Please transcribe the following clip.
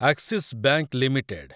Axis bank limited